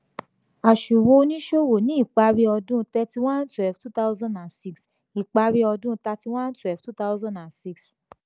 àsùwò oníṣòwò ni ipari ọdún thirty one twelve two thousand and six ipari ọdún thirty one twelve two thousand and six.